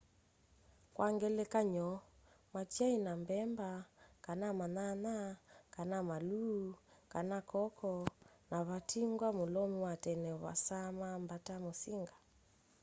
kwa ngelekany'o matyaina mbemba kana manyanya kana maluu kana koko na vatingwa mulomi wa tene waasama mbata musinga